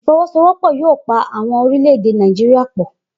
ifowosowopo yoo pa awọn orilẹ-ede Náìjíría pọ.